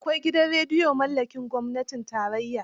Akwai gidan rediyo mallakin gwamnatin tarayya.